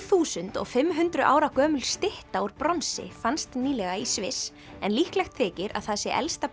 þúsund og fimm hundruð ára gömul stytta úr bronsi fannst nýlega í Sviss en líklegt þykir að það sé elsta